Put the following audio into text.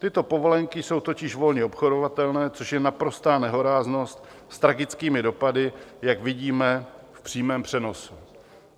Tyto povolenky jsou totiž volně obchodovatelné, což je naprostá nehoráznost s tragickými dopady, jak vidíme v přímém přenosu.